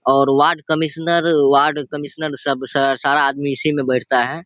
और ward commissioner ward commissioner सब स सारा आदमी इसी में बैठता है।